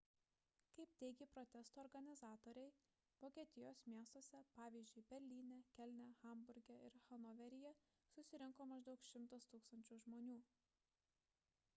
kaip teigė protesto organizatoriai vokietijos miestuose pavyzdžiui berlyne kelne hamburge ir hanoveryje susirinko maždaug 100 000 žmonių